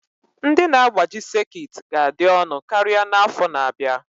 Ndị na-agbaji sekit ga-adị ọnụ karịa n'afọ na-abịa